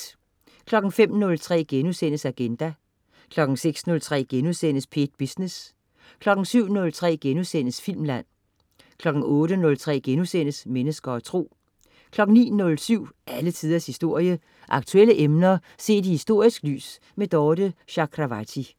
05.03 Agenda* 06.03 P1 Business* 07.03 Filmland* 08.03 Mennesker og Tro* 09.07 Alle Tiders Historie. Aktuelle emner set i historisk lys. Dorthe Chakravarty